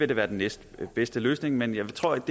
det være den næstbedste løsning men jeg tror ikke